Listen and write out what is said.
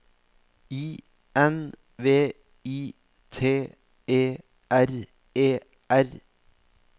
I N V I T E R E R